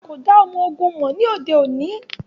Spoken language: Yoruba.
A ko da ọmọ-ogun mọ ni ode oni.